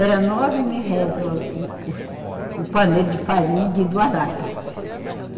Era nove mil réis o ao, o, o, o pandeiro de farinha de duas latas.